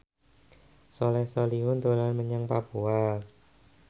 Soleh Solihun dolan menyang Papua